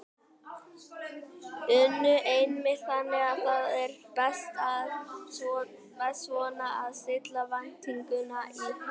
Una: Einmitt, þannig að það er best svona að stilla væntingunum í hóf?